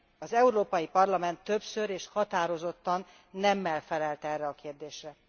Az Európai Parlament többször és határozottan nemmel felelt erre a kérdésre.